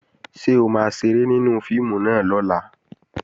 Ṣé o máa ṣeré nínú fíìmù náà lọ́la?